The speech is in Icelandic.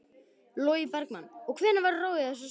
Logi Bergmann: Og hvenær verður ráðið í þessar stöður?